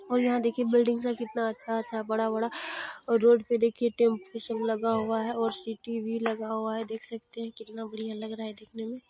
और यहाँ देखिये बिल्डिंग है कितना अच्छा अच्छा बड़ा बड़ा और रोड पे देखिये टैम्पू सब लगा हुआ है और सिटी भी लगा हुआ है देख सकते है। कितना बड़िया लग रहा देखने में।